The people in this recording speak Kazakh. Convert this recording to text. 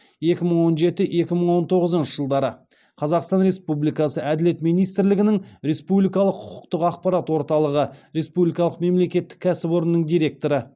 екі мың он жеті екі мың он тоғызыншы жылдары қазақстан республикасы әділет министрлігінің республикалық құқықтық ақпарат орталығы республикалық мемлекеттік кәсіпорынның директоры